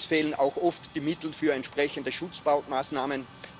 Es fehlen auch oft die Mittel für entsprechende Schutzbaumaßnahmen.